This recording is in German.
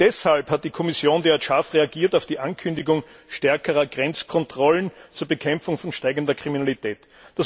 Wohl deshalb hat die Kommission derart scharf auf die Ankündigung stärkerer Grenzkontrollen zur Bekämpfung steigender Kriminalität reagiert.